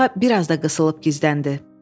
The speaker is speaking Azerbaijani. Tısbağa biraz da qısılıb gizləndi.